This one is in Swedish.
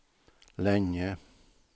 länge